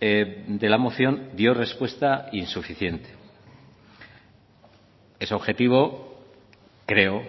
de la moción dio respuesta insuficiente es objetivo creo